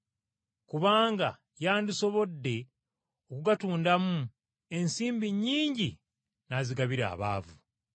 Kubanga yandisobodde okugatundamu ensimbi nnyingi n’azigabira abaavu.”